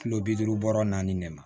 Kilo bi duuru bɔrɔ naani de ma